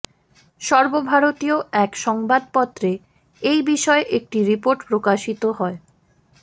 সর্বভারতীয় এক সংবাদপত্রে এই বিষয়ে একটি রিপোর্ট প্রকাশিত হয়